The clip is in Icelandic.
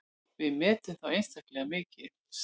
Við metum þá einstaklega mikils.